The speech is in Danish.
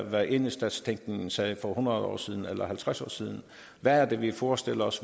hvad enhedsstatstænkningen sagde for hundrede år siden eller halvtreds år siden hvor er det vi forestiller os